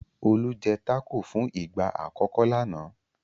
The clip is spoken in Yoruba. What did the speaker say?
Olú jẹ́ tákò fún ìgbà àkọ́kọ́ lánàá.